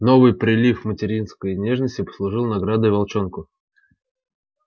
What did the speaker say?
новый прилив материнской нежности послужил наградой волчонку